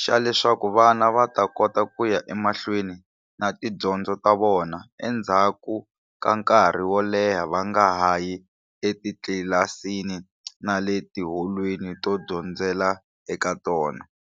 xa leswaku vana va ta kota ku ya emahlweni na tidyondzo ta vona endzhaku ka nkarhi wo leha va nga hayi etitlilasini na le tiholweni to dyondzela eka tona.